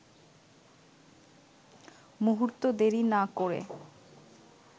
মুহূর্ত দেরি না করে